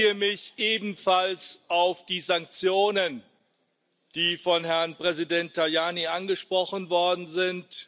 Ich beziehe mich ebenfalls auf die Sanktionen, die von Herrn Präsident Tajani angesprochen worden sind.